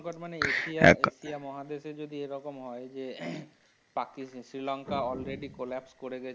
সংকট মানে এক এশিয়া ~ এশিয়া মহাদেশে যদি এ রকম হয় যে পাকিস, শ্রীলঙ্কা alreadycollapse করে গেছে।